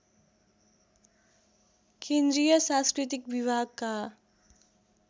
केन्द्रीय सांस्कृतिक विभागका